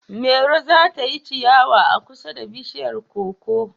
Mairo za ta yi ciyawa a kusa da bishiyar koko